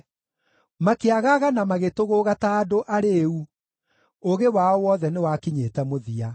Makĩagaga na magĩtũgũũga ta andũ arĩĩu; ũũgĩ wao wothe nĩwakinyĩte mũthia.